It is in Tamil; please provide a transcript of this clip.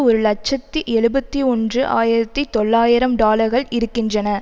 ஒரு இலட்சத்தி எழுபத்தி ஒன்று ஆயிரத்தி தொள்ளாயிரம் டாலர்கள் இருக்கின்றன